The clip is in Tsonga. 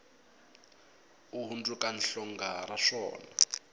u hundzuka hlonga ra swona